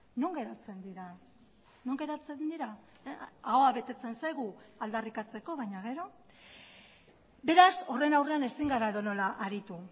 non geratzen dira non geratzen dira ahoa betetzen zaigu aldarrikatzeko baina gero beraz horren aurrean ezin gara edonola aritu